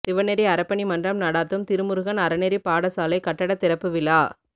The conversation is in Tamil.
சிவநெறி அறப்பணி மன்றம் நடாத்தும் திருமுருகன் அறநெறிப் பாடசாலை கட்டட திறப்பு விழா